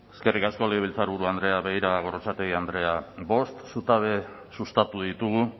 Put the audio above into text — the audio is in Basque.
eskerrik asko gorrotxategi andrea begira gorrotxategi andrea bost zutabe sustatu ditugu